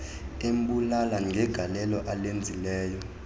embulela ngegalelo alenzileyo